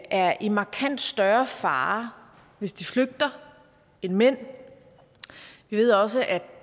er i markant større fare hvis de flygter end mænd vi ved også at